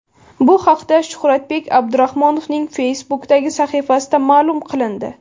Bu haqda Shuhratbek Abdurahmonovning Facebook’dagi sahifasida ma’lum qilindi .